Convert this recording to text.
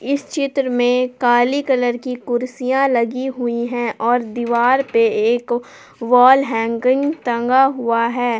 इस चित्र में काली कलर की कुर्सियां लगी हुई हैं और दीवार पे एक वॉल हैंगिंग टंगा हुआ है।